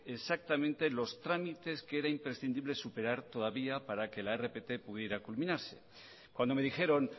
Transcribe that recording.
exactamente los trámites que era imprescindible superar todavía para que la rpt pudiera culminarse cuando me dijeron